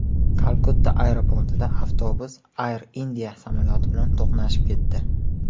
Kalkutta aeroportida avtobus Air India samolyoti bilan to‘qnashib ketdi.